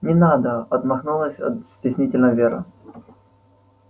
не надо отмахнулась стеснительно вера